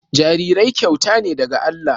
Jarirai kyauta ce daga Allah